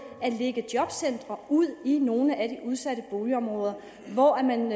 at lægge jobcentrene ud i nogle af de udsatte boligområder hvor man